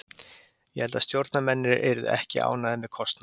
Ég held að stjórnarmennirnir yrðu ekki ánægðir með kostnað.